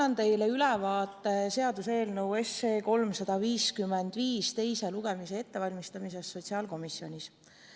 Annan teile ülevaate seaduseelnõu 355 teise lugemise ettevalmistamisest sotsiaalkomisjonis.